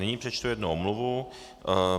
Nyní přečtu jednu omluvu.